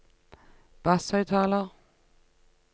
basshøyttaler